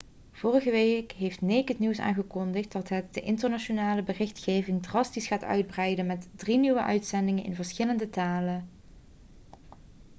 vorige week heeft naked news aangekondigd dat het de internationale berichtgeving drastisch gaat uitbreiden met drie nieuwe uitzendingen in verschillende talen